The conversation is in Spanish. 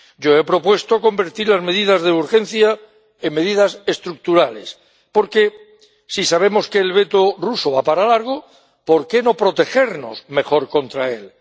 Yo he propuesto convertir las medidas de urgencia en medidas estructurales, porque si sabemos que el veto ruso va para largo, ¿por qué no protegernos mejor contra él?